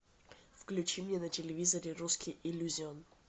включи мне на телевизоре русский иллюзион